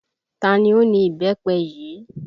Ta ni ó ni Ìbẹ́pẹ yìí?